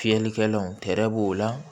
Fiyɛlikɛlanw tɛrɛ b'o la